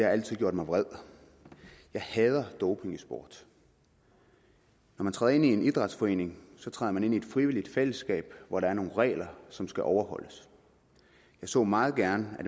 altid gjort mig vred jeg hader doping i sport når man træder ind i en idrætsforening træder man ind i et frivilligt fællesskab hvor der er nogle regler som skal overholdes jeg så meget gerne at